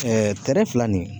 kɛrɛ fila nin